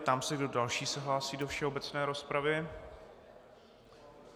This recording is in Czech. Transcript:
Ptám se, kdo další se hlásí do všeobecné rozpravy.